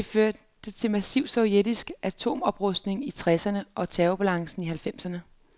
Det førte til massiv sovjetisk atomoprustning i tresserne og terrorbalancen i halvfjerdserne.